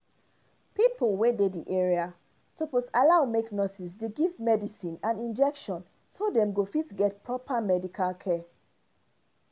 pipo wey dey the area suppose allow make nurses dey give medicine and injection so dem go fit get proper medical care